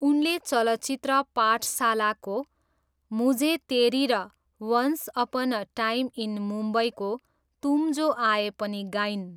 उनले चलचित्र पाठशालाको 'मुझे तेरी' र once upon a time in मुम्बईको 'तुम जो आए' पनि गाइन्।